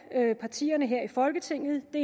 partierne her i folketinget det